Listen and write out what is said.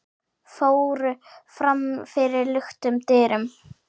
fóru fram fyrir luktum dyrum.